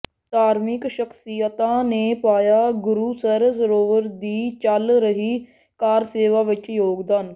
ਧਾਰਮਿਕ ਸ਼ਖ਼ਸੀਅਤਾਂ ਨੇ ਪਾਇਆ ਗੁਰੂਸਰ ਸਰੋਵਰ ਦੀ ਚੱਲ ਰਹੀ ਕਾਰ ਸੇਵਾ ਵਿਚ ਯੋਗਦਾਨ